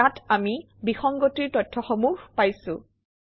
ইয়াত আমি বিসংগতিৰ তথ্যসমূহ পাইছোঁ